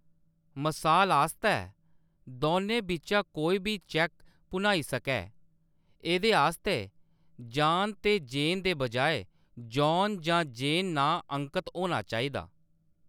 मसाल आस्तै, दौनें बिच्चा कोई बी चैक्क भुनाई सकै, एह्‌‌‌दे आस्तै जान ते जेन दे बजाए जॉन जां जेन नांऽ अंकत होना चाहिदा .